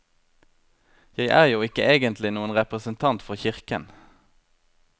Jeg er jo ikke egentlig noen representant for kirken.